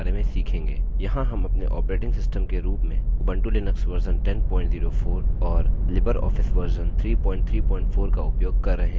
यहाँ हम अपने ऑपरेटिंग सिस्टम के रूप में उबंटु लिनक्स वर्जन 1004 और लिबर ऑफिस वर्जन 334 का उपयोग कर रहे हैं